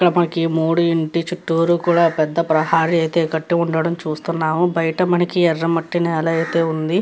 ఇక్కడ మనకి మూడు ఇంటి చుట్టూ కూడా పెద్ద ప్రహరీ కట్టి ఉండటం చూడొచ్చు. బైట మనకి ఎర్ర మట్టి నేల కూడా ఉంది.